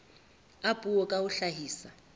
a puo ka ho hlahisa